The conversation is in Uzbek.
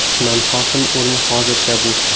Tuman hokimi o‘rni hozircha bo‘sh.